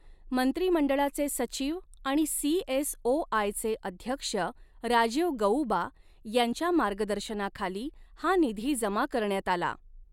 मंत्रिमंडळाचे सचिव आणि सीएसओआयचे अध्यक्ष राजीव गअुबा यांच्या मार्गदर्शनाखाली हा निधी जमा करण्यात आला.